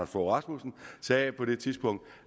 fogh rasmussen sagde på det tidspunkt